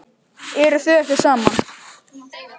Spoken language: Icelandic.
Eruð þið ekki saman?